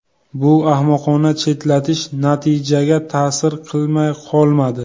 Bu ahmoqona chetlatish natijaga ta’sir qilmay qolmadi.